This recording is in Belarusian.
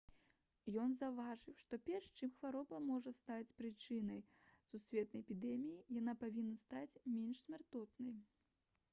ён заўважыў што перш чым хвароба зможа стаць прычынай сусветнай эпідэміі яна павінна стаць менш смяротнай